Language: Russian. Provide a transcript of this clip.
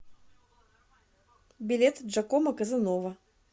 билет джакомо казанова